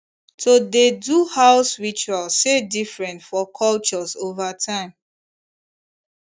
to dey do house ritual sey different for cultures over time